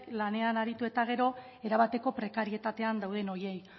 lanean aritu eta gero erabateko prekarietatean dauden horiei